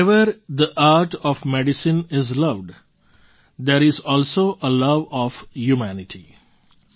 wherever the art of medicine is loved there is also a love of humanity